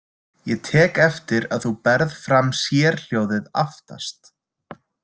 Ég tek eftir að þú berð fram sérhljóðið aftast.